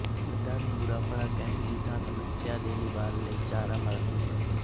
ਮਰਦਾਂ ਨੂੰ ਬੁਰਾਭਲਾ ਕਹਿਣ ਦੀ ਥਾਂ ਸਮੱਸਿਆ ਦੇ ਨਿਵਾਰਨ ਲਈ ਚਾਰਾ ਮਾਰਦੀ ਹੈ